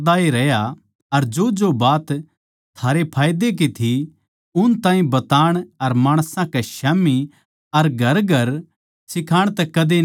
अर जोजो बात थारे फायदे की थी उन ताहीं बताण अर माणसां कै स्याम्ही अर घरघर सिखाण तै कदे न्ही झिझक्या